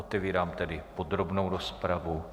Otevírám tedy podrobnou rozpravu.